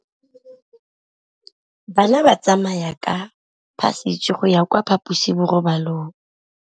Bana ba tsamaya ka phašitshe go ya kwa phaposiborobalong.